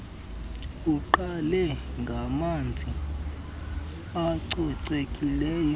uqale ngamanzi acocekileyo